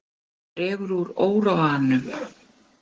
Dregur úr óróanum